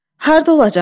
Hardı olacam?